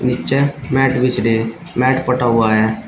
नीचे मैट बिछ रहे हैं मैट पटा हुआ है।